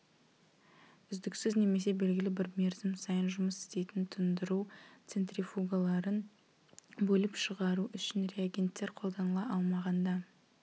үздіксіз немесе белгілі бір мерзім сайын жұмыс істейтін тұндыру центрифугаларын бөліп шығару үшін реагенттер қолданыла алмағанда